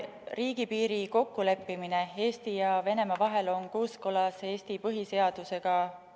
Riigipiiri kokkuleppimine Eesti ja Venemaa vahel on kooskõlas Eesti põhiseadusega.